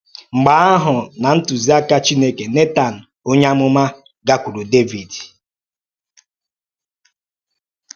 Mgbe ahụ, ná ntụziaka Chineke, Nẹtan onye amụma gakwuuru Dẹvid.